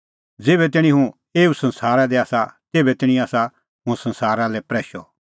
ज़ेभै तैणीं हुंह एऊ संसारा दी आसा तेभै तैणीं आसा हुंह संसारा लै प्रैशअ